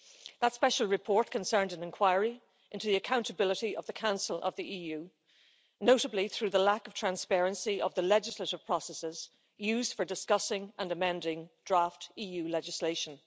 That Special Report concerned an inquiry into the accountability of the Council of the EU, notably through the lack of transparency of the legislative processes used for discussing and amending draft EU legislation.